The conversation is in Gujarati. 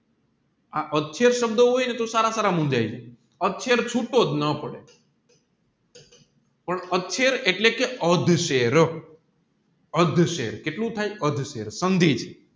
આ સબધ હોયને તોહ સારા સારા મુંજાય જાય છૂતોજ ન પડે પણ એટલે કે અધઃ શેર અધશેર કેટલું થાય અધશેર સંધિ